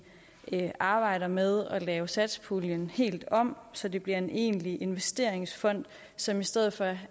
arbejder med at lave satspuljen helt om så det bliver en egentlig investeringsfond som i stedet for